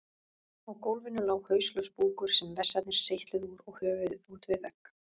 Á gólfinu lá hauslaus búkur sem vessarnir seytluðu úr og höfuð út við vegg.